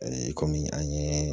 kɔmi an ye